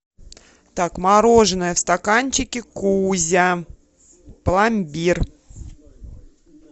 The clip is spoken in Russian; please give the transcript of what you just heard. так мороженое в стаканчике кузя пломбир